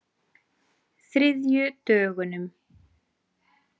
þriðjudögunum